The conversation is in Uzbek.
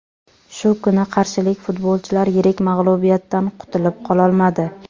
Shu kuni qarshilik futbolchilar yirik mag‘lubiyatdan qutilib qololmadi.